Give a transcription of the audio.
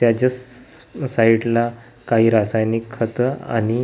त्याच्याचं side ला काही रासायनिक खत आणि--